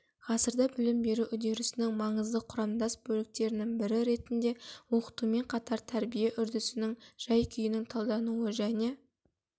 ғасырда білім беру үдерісінің маңызды құрамдас бөліктерінің бірі ретінде оқытумен қатар тәрбие үдерісінің жай-күйінің талдануы және